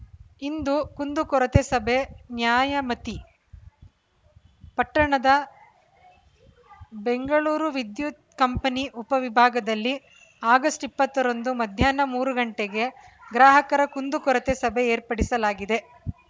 ಇಂದು ಕುಂದುಕೊರತೆ ಸಭೆ ನ್ಯಾಯಮತಿ ಪಟ್ಟಣದ ಬೆಂಗಳೂರು ವಿದ್ಯುತ್ ಕಂಪನಿ ಉಪವಿಭಾಗದಲ್ಲಿ ಆಗಸ್ಟ್ ಇಪ್ಪತ್ತರಂದು ಮಧ್ಯಾಹ್ನ ಮೂರು ಗಂಟೆಗೆ ಗ್ರಾಹಕರ ಕುಂದುಕೊರತೆ ಸಭೆ ಏರ್ಪಡಿಸಲಾಗಿದೆ